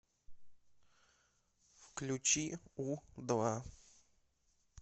включи у два